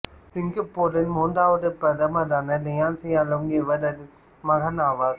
சிங்கப்பூரின் மூன்றாவது பிரதமரான லீ சியன் லூங் இவரின் மகன் ஆவார்